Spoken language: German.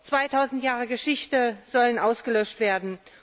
2000 Jahre Geschichte sollen ausgelöscht werden.